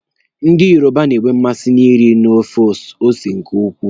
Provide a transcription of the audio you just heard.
Ndị Yoruba na-enwe mmasị na nri na-afụ ose nke ukwuu.